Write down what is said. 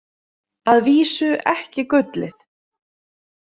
Að vísu ekki gullið.